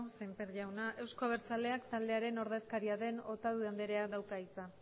semper jauna euzko abertzaleak taldearen ordezkaria den otadui andreak dauka hitza